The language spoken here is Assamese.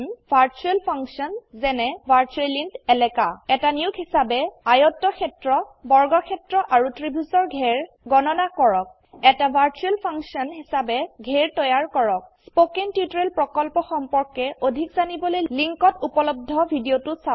ভাৰ্চুয়াল ফাংশন যেনে ভাৰ্চুৱেল ইণ্ট এলাকা এটা নিয়োগ হিসাবে আয়তক্ষেত্ৰ বৰ্গক্ষেত্ৰ আৰু ত্ৰিভুজৰ ঘেৰ গণনা কৰক এটা ভাৰ্চুয়েল ফাংশন হিসাবে ঘেৰ তৈয়াৰ কৰক স্পোকেন টিউটোৰিয়েল প্ৰকল্পৰ সম্পৰ্কে অধিক জানিবলৈ লিঙ্কত উপলব্ধ ভিডিওটো চাওক